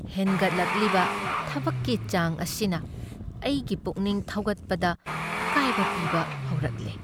ꯍꯦꯟꯒꯠꯂꯛꯂꯤꯕ ꯊꯕꯛꯀꯤ ꯆꯥꯡ ꯑꯁꯤꯅ ꯑꯩꯒꯤ ꯄꯨꯛꯅꯤꯡ ꯊꯧꯒꯠꯄꯗ ꯑꯀꯥꯏꯕ ꯄꯤꯕ ꯍꯧꯔꯛꯂꯦ꯫